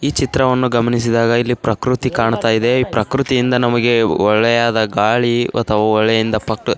ಈ ಚಿತ್ರವನ್ನು ಗಮನಿಸಿದಾಗ ಇಲ್ಲಿ ಪ್ರಕೃತಿ ಕಾಣ್ತಾಯಿದೆ. ಈ ಪ್ರಕೃತಿಯಿಂದ ನಮಗೆ ಒಳ್ಳೆಯದಾದ ಗಾಳಿ ಅಥವಾ ಒಳ್ಳೆಯಿಂದ ಪ --